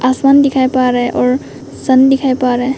आसमान दिखाई पा रहा और सन दिखाई पा रहे--